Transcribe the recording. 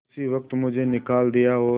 उसी वक्त मुझे निकाल दिया और